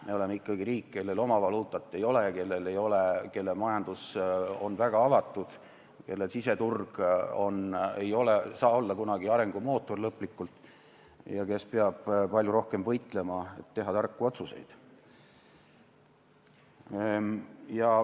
Me oleme ikkagi riik, kellel oma valuutat ei ole, kelle majandus on väga avatud, kelle siseturg ei saa kunagi olla lõplikult arengumootor ja kes peab palju rohkem võitlema, et teha tarku otsuseid.